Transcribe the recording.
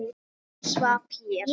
Hann svaf hér.